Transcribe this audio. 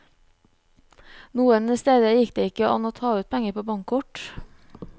Noen steder gikk det ikke an å ta ut penger på bankkort.